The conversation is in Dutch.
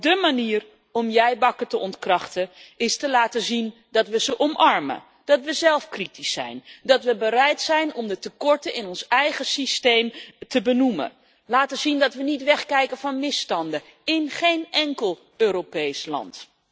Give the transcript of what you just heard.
Dé manier om jij bakken te ontkrachten is te laten zien dat we ze omarmen, dat we zelf kritisch zijn, dat we bereid zijn om de tekorten in ons eigen systeem te benoemen en dat we niet wegkijken van misstanden, in geen enkel Europees land.